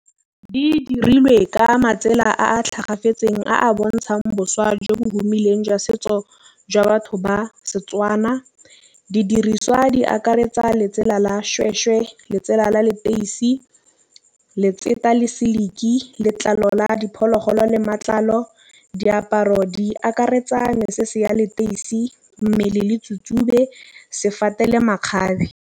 Di dirilwe ka matsela a tlhokafetseng a bontšhang boswa jo bo humiseng jwa setso jwa batho ba Setswana. Didiriswa di akaretsa letsela la seshweshwe ke letsela la leteisi, letseto le seliki letlalo la diphologolo le matlalo diaparo. Di akaretsa mae se se ya leteisi mmele le tsube sefane le makgabe.